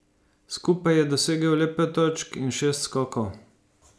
Skupaj je dosegel le pet točk in šest skokov.